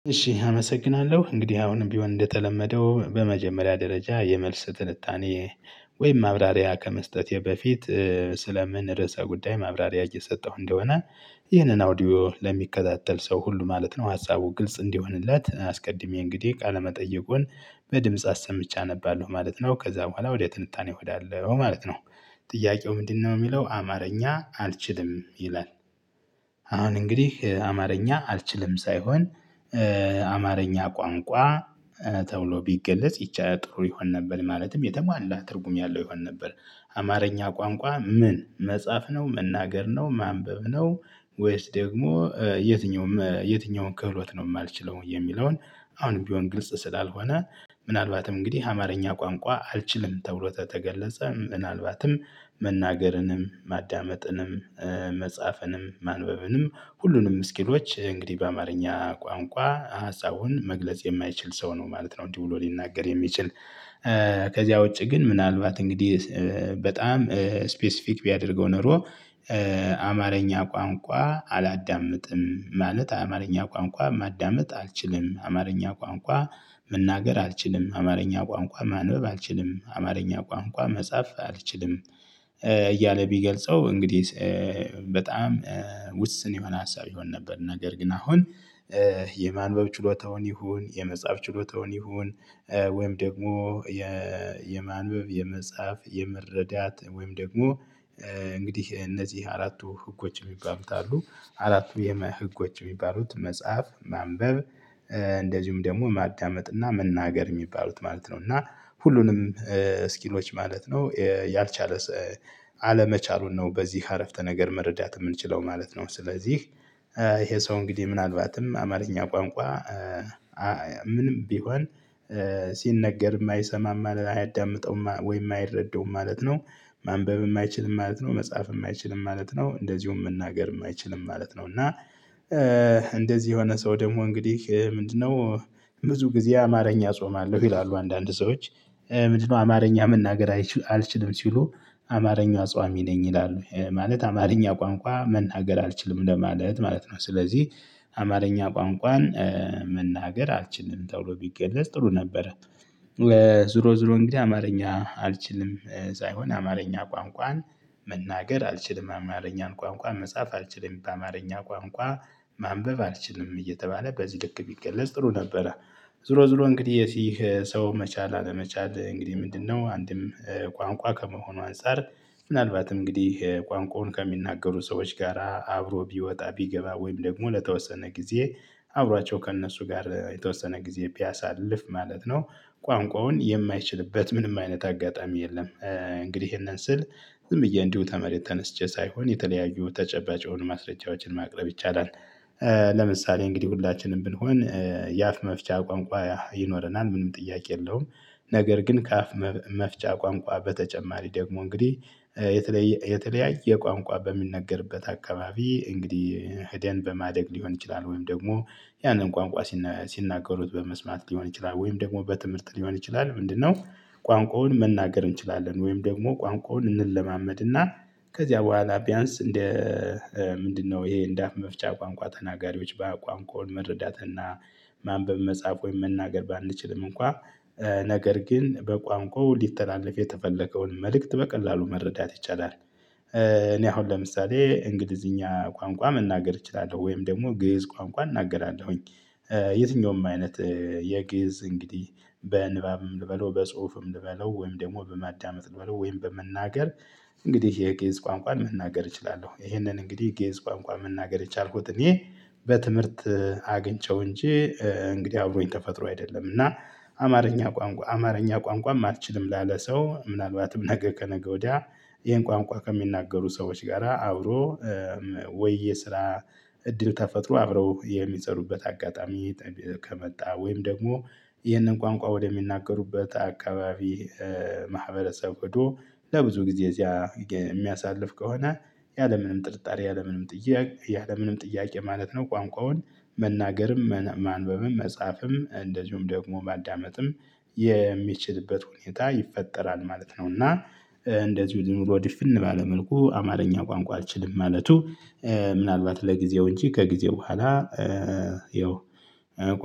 እሺ አመሰግናለሁ እንግዲህ አሁንም ቢሆን እንደተለመደው በመጀመሪያ ደረጃ የመልስ ትልታኔ ወይም ማብራሪያ ከመስጠቴ በፊት ስለምን ርዕሰ ጉዳይ ማብራሪያ እየሰጠሁ እንደሆነ። ይህንን አውዲዮ ለሚከታተል ሰው ሁሉ ማለት ነው ሀሳቡ ግልጽ እንዲሆንለት አስቀድሜ እንግዲህ ቃለመጠየቁን በድምጽ አሰምቼ አነባለሁ ማለት ነው ከዛ በኋላ ወደ ትንታኔ እሄዳለሁ ማለት ነው። ጥያቄው ምንድነው የሚለው አማርኛ አልችልም ይላል? አሁን እንግዲህ አማርኛ አልችልም ሳይሆን አማርኛ ቋንቋ ተብሎ ቢገለጽ ይቻ ጥሩ ይሆን ነበር። ማለትም የተሟላ ትርጉም ያለው ይሆን ነበር። አማርኛ ቋንቋ ምን መጻፍ ነው መናገር ነው ማንበብ ነው? ወይስ ደግሞ የትኛውም የትኛውም ክህሎት ነው የማልችለው የሚለውን አሁንም ቢሆን ግልጽ ስላልሆነ። ምናልባትም እንግዲህ አማርኛ ቋንቋ አልችልም ተብሎ ተገለጸ ምናልባትም መናገርንም ማዳመጥንም መጻፍንም ማንበብንም ሁሉንም ስኪሎች እንግዲህ በአማርኛ ቋንቋ ሀሳቡን መግለጽ የማይችል ሰው ነው ማለት ነው። እንዲህ ብሎ ሊናገር የሚችል ከዚያ ውጪ ግን ምናልባት እንግዲህ በጣም ስፔሲፊክ ቢያደርገው ኖሮ። አማርኛ ቋንቋ አላዳምጥም ማለት አማርኛ ቋንቋ ማዳመጥ አልችልም አማርኛ ቋንቋ መናገር አልችልም አማርኛ ቋንቋ ማንበብ አልችልም አማርኛ ቋንቋ መጻፍ አልችልም። እያለ ቢገልጸው እንግዲህ በጣም ውስን የሆነ ሀሳብ ይሆን ነበር። ነገር ግን አሁን የማንበብ ችሎታውን ይሁን የመጽሐፍ ችሎታውን ይሁን ወይም ደግሞ የ የማንበብ የመጽሐፍ የመረዳት ወይም ደግሞ እንግዲህ እነዚህ አራቱ ህጎች የሚባሉት አሉ። አራቱ የመ ህጎች የሚባሉት መጽሐፍ ማንበብ እንደዚሁም ደግሞ ማዳመጥ እና መናገር የሚባሉት ማለት ነው። እና ሁሉንም ስኪሎች ማለት ነው። ያልቻለ አለመቻሉን ነው በዚህ አረፍተ ነገር መረዳት የምንችለው ማለት ነው። ስለዚህ ይሄ ሰው እንግዲህ ምናልባትም አማርኛ ቋንቋ ምንም ቢሆን ሲነገር የማይሰማም አያዳምጠውም ወይም አይረደውም ማለት ነው። ማንበብ የማይችል ማለት ነው መጽሐፍ የማይችል ማለት ነው እንደዚሁም መናገር የማይችል ማለት ነው እና እንደዚህ የሆነ ሰው ደግሞ እንግዲህ ምንድነው? ብዙ ጊዜ አማርኛ እጾማለሁ ይላሉ አንዳንድ ሰዎች። ምንድነው? አማርኛ መናገር አልችልም ሲሉ አማርኛ አጽዋሚ ነኝ ይላሉ ማለት አማርኛ ቋንቋ መናገር አልችልም ለማለት ማለት ነው። ስለዚህ አማርኛ ቋንቋን መናገር አልችልም ተብሎ ቢገለፅ ጥሩ ነበረ። ዙሮ ዙሮ እንግዲህ አማርኛ አልችልም ሳይሆን አማርኛ ቋንቋን መናገር አልችልም አማርኛን ቋንቋ መጻፍ አልችልም አማርኛ ቋንቋ ማንበብ አልችልም እየተባለ በዚህ ልክ ቢገለጽ ጥሩ ነበረ። ዝሮ ዝሮ እንግዲህ ይህ ሰው መቻል አለመቻል እንግዲህ ምንድነው አንድም ቋንቋ ከመሆኑ አንፃር ምናልባትም እንግዲህ ቋንቋውን ከሚናገሩ ሰዎች ጋራ አብሮ ቢወጣ ቢገባ ወይም ደግሞ ለተወሰነ ጊዜ አብሯቸው ከእነሱ ጋር የተወሰነ ጊዜ ቢያሳልፍ ማለት ነው። ቋንቋውን የማይችልበት ምንም አይነት አጋጣሚ የለም። እንግዲህ ይሄንን ስል ዝም ብዬ እንዲሁ ተመሬት ተነስቼ ሳይሆን የተለያዩ ተጨባጭ የሆኑ ማስረጃዎችን ማቅረብ ይቻላል። ለምሳሌ እንግዲህ ሁላችንም ብንሆን የአፍ መፍቻ ቋንቋ ይኖረናል ምንም ጥያቄ የለውም። ነገር ግን ከአፍ መፍጫ ቋንቋ በተጨማሪ ደግሞ እንግዲህ የተለየ የተለያየ ቋንቋ በሚነገርበት አካባቢ እንግዲህ ሄደን በማደግ ሊሆን ይችላል ወይም ደግሞ ያንን ቋንቋ ሲናገሩት በመስማት ሊሆን ይችላል ወይም ደግሞ በትምህርት ሊሆን ይችላል። ምንድነው? ቋንቋውን መናገር እንችላለን ወይም ደግሞ ቋንቋውን እንለማመድና ከዚያ በኋላ ቢያንስ እንደ ምንድነው ይሄ እንደ አፍ መፍቻ ቋንቋ ተናጋሪዎች በቋንቋው መረዳትና ማንበብ መጻፍ ወይም መናገር ባንችልም እንኳን ነገር ግን በቋንቋው ሊተላለፍ የተፈለገውን መልእክት በቀላሉ መረዳት ይቻላል። እኔ አሁን ለምሳሌ እንግሊዝኛ ቋንቋ መናገር እችላለሁ ወይም ደግሞ ግእዝ ቋንቋ እናገራለሁኝ። የትኛውም አይነት የግዕዝ እንግዲህ በንባብም ልበለው በጽሁፍም ልበለው ወይም ደግሞ በማዳመጥ ልበለው ወይም በመናገር እንግዲህ የግዕዝ ቋንቋን መናገር እችላለሁ። ይሄንን እንግዲህ ግእዝ ቋንቋ መናገር የቻልኩት እኔ በትምህርት አግኝቼው እንጂ እንግዲህ አብሮኝ ተፈጥሮ አይደለም። እና አማርኛ ቋንቋ አማርኛ ቋንቋም አልችልም ላለ ሰው ምናልባትም ነገ ከነገ ወዲያ ይሄን ቋንቋ ከሚናገሩ ሰዎች ጋራ አብሮ ወይ የስራ እድል ተፈጥሮ አብረው የሚጸሩበት አጋጣሚ ከመጣ ወይም ደግሞ ይህንን ቋንቋ ወደሚናገሩበት አካባቢ ማህበረሰብ ሄዶ ለብዙ ጊዜ እዚያ የሚያሳልፍ ከሆነ። ያለምንም ጥርጣሬ ያለምንም ጥያቄ ያለምንም ጥያቄ ማለት ነው ቋንቋውን መናገርም ማንበብም መጻፍም እንደዚሁም ደግሞ ማዳመጥም የሚችልበት ሁኔታ ይፈጠራል ማለት ነው። እና እንደዚሁ ዝም ብሎ ዲፍን ባለ መልኩ አማርኛ ቋንቋ አልችልም ማለቱ ምናልባት ለጊዜው እንጂ ከጊዜው በኋላ ይኸው